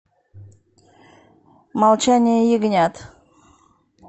молчание ягнят